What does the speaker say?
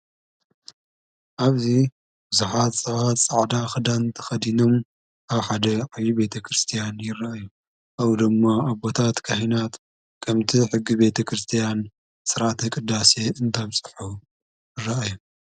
ኣብዙ ብዙኃት ጸባት ጸዕዳ ኽዳንቲ ኸዲኖም ኣብ ሓደ ዓዪ ቤተ ክርስቲያን ይረአእዩ ኣብ ደሞ ኣቦታት ካሕናት ከምቲ ሕጊ ቤተ ክርስቲያን ሠራኣተ ቕዳሴየ እንዳብጽሑ ይረአዩ።